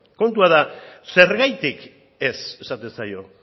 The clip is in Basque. kontua da zergatik ez esaten zaio